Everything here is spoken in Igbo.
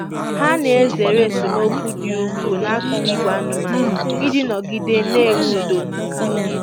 Ha na-ezere esemokwu dị ukwuu n'akụkụ ìgwè anụmanụ iji nọgide na-enwe udo.